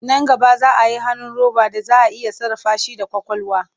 Nan gaba za a yi hannu roba da za a iya sarrafa shi da ƙwaƙwalwa.